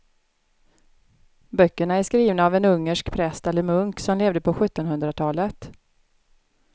Böckerna är skrivna av en ungersk präst eller munk som levde på sjuttonhundratalet.